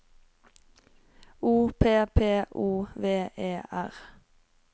O P P O V E R